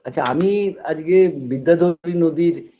আচ্ছা আমি আজগে বিদ্যাধরী নদীর